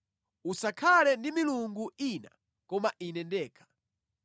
“Usakhale ndi milungu ina koma Ine ndekha.